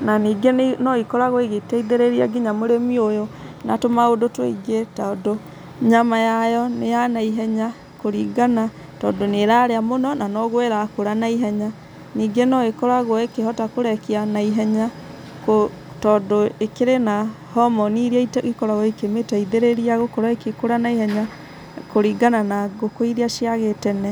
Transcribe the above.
na ningĩ noikoragwo igĩteithĩrĩria nginya mũrĩmi ũyũ na tũmaũndũ tũingĩ tondũ nyama yayo nĩya na ihenya kũringana tondũ nĩ ĩraria mũno noguo ĩrakũra na ihenya ningĩ noikoragwo ĩkĩhota kũrekia na ihenya tondũ ĩkĩrĩ na homoni iria ikoragwo ikĩmĩteithĩrĩria gũkorwo igĩkũra na ihenya kũringana na ngũkũ iria cia gĩtene.